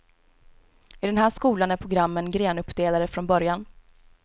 I den här skolan är programmen grenuppdelade från början.